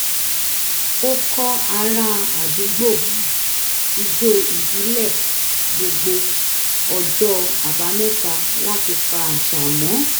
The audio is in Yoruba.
ó kọ́ ará àdúgbò ijó ìbílẹ̀ gbogbo ọjọ́ àbámẹ́ta láti pa àṣà mọ́